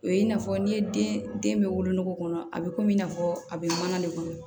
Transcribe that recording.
O ye i n'a fɔ n'i ye den den bɛ wolo kɔnɔ a bɛ komi i n'a fɔ a bɛ mana de kɔnɔ